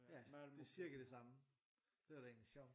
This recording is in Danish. Ja det er cirka det samme det var da egentlig sjovt